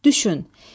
Düşün.